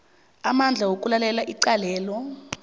amandla wokulalela icalelo